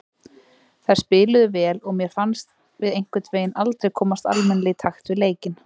Þær spiluðu vel og mér fannst við einhvernveginn aldrei komast almennilega í takt við leikinn.